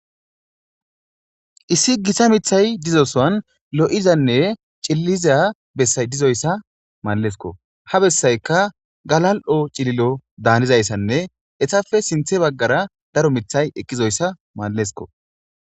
Issi gita mithay dizosoan lo'izanne cilliza bessay dizoyssa mallesko ha bessayka galal'o cililo daanizayssanne etafe sinthe baggara daro mithay eqqizoyssa mallesko.